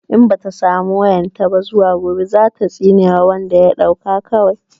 In bata samu wayan ta ba zuwa gobe zata tsine wa wanda ya ɗauka kawai